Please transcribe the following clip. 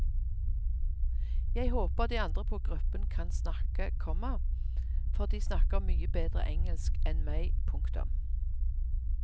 Jeg håper de andre på gruppen kan snakke, komma for de snakker mye bedre engelsk enn meg. punktum